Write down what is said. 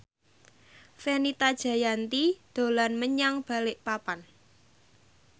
Fenita Jayanti dolan menyang Balikpapan